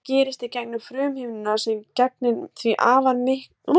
Þetta gerist í gegnum frumuhimnuna sem gegnir því afar mikilvægu hlutverki í frumum líkamans.